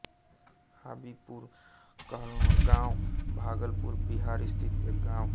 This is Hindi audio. हाबीपुर कहलगाँव भागलपुर बिहार स्थित एक गाँव है